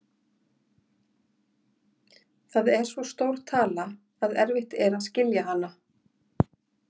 Það er svo stór tala að erfitt er að skilja hana.